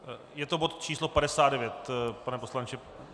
Je to bod číslo 59, pane poslanče?